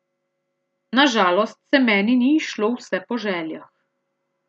Na žalost se meni ni izšlo vse po željah.